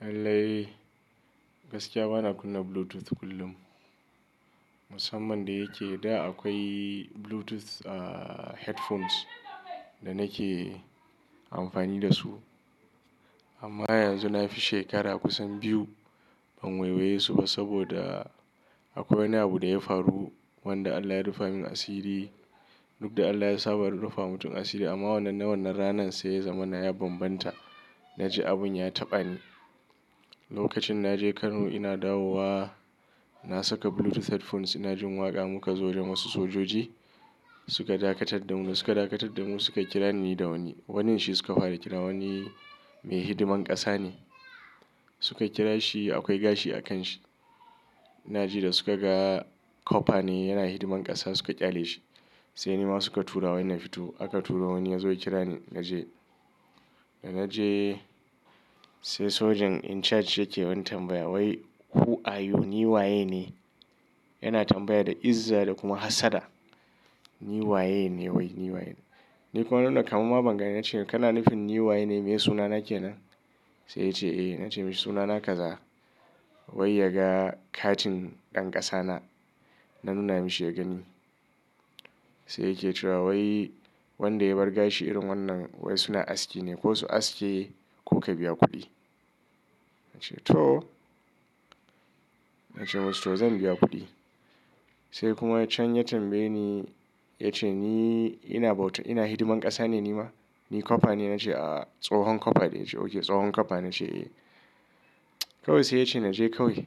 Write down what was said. Lallai, gaskiya bana kunna Bluetooth kullum. Musamman da yake da akwai Bluetooth, ah, headphones da nake amfani da su. Amma yanzu na fi shekara kusan biyu ban wawaiye su ba saboda, akwai wani abu da ya faru wanda Allah ya rufa min asiri, duk da Allah ya saba rufa wa mutum asiri, amma wannan na wannan ranan sai zamana ya bambanta. Naji abin ya taɓani. Lokacin na je Kano ina dawowa, na saka Bluetooth headphones ina jin waƙa muka zo da wasu sojoji, suka dakatar da mu. Suka dakatar da mu suka kira ni da wani. Wanin shi suka fara kira wani mai hidiman ƙasa ne. Suka kira shi akwai gashi a kan shi. Ina ji da suka ga copper ne yana hidiman ƙasa suka ƙyale shi. Sai nima suka tura wai na fito. Aka turo wani ya zo ya kira ni na je. Da na je sai sojan in charge yake wani tambaya wai "who are you, ni waye ne?" Yana tambaya da izza da kuma hassada. "Ni waye ne? Wai ni waye ne?" Ni kuma na nuna kamamma bangani na ce "Kana nufin ni waye ne? Meye suna na kenan?" Sai yace "Eh." Na ce "Mishi suna na kaza." Wai, ya ga, katin ɗan ƙasa na, na nuna mashi ya gani. Sai yake cewa "wai wanda ya bar gashi irin wannan wai suna aski ne. Ko su aske ko ka biya kuɗi. Na ce to. Na ce masa to zan biya kuɗi. Sai kuma can ya tambaye ni ya ce "Ni ina bauta, ina hidiman ƙasa ne nima? Ni copper ne?" Na ce "A'a, tsohon copper ne." Ya ce "Okay tsohon copper." Na ce eh kawai sai ya ce naje kawai.